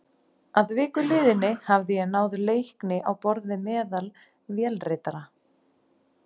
Að viku liðinni hafði ég náð leikni á borð við meðal vélritara.